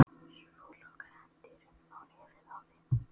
Svo lokaði hann dyrunum á nefið á þeim.